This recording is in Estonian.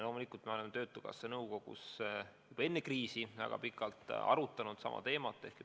Loomulikult me oleme töötukassa nõukogus juba enne kriisi väga pikalt arutanud sama teemat.